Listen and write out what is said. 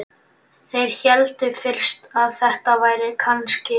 Þeir héldu fyrst að þetta væri kannski